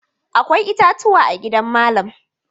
Akwai itatuwa a gidan malam.